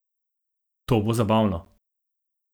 To bo zabavno!